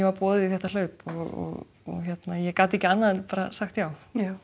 var boðið í þetta hlaup og ég gat ekki annað en sagt já